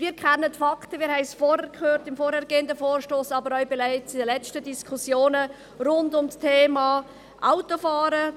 Wir kennen die Fakten, wir haben es im vorhergehenden Vorstoss, aber auch bereits in den letzten Diskussionen rund um das Thema Autofahren gehört: